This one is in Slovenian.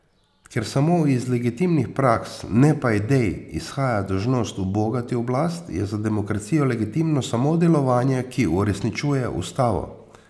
Ker samo iz legitimnih praks, ne pa idej, izhaja dolžnost ubogati oblast, je za demokracijo legitimno samo delovanje, ki uresničuje ustavo.